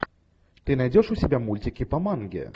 ты найдешь у себя мультики по манге